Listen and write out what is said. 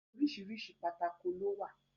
Oríṣiríṣi pátákó ló wà.